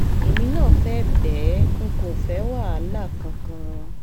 èmi náà fẹ́ bẹ́ẹ̀ n kò fẹ́ wàhálà kankan